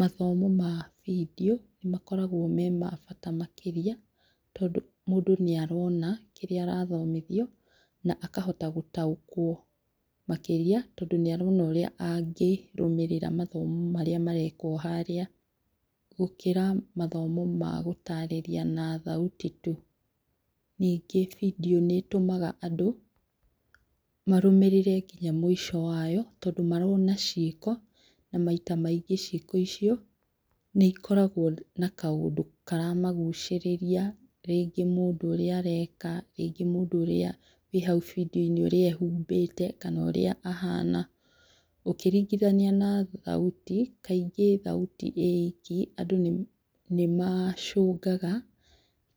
Mathomo ma video nĩmakoragwo me ma bata makĩria tondũ mũndũ nĩarona kĩria arathomithio na akahota gũtaũkwo makĩria tondũ nĩarona ũrĩa angĩrũmĩrĩra mathomo marĩa marekwo harĩa gũkĩra mathomo ma gũtarĩria na thauti tu. Ningĩ video nĩĩtũmaga andũ marũmĩrĩre nginya mũico wayo tondũ marona ciĩko na maita maingĩ ciĩko icio nĩikoragwo na kaũndũ karamagũcĩrĩria rĩngĩ mũndũ ũrĩa areka, rĩngĩ mũndũ ũrĩa arĩ hau video -inĩ ehumbĩte kana ũrĩa ahana ũkĩringithania na thauti kaingĩ thauti ĩ iki andũ nĩmacũngaga